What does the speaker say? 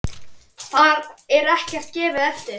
Þar er ekkert gefið eftir.